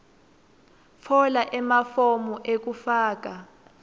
tfola emafomu ekufaka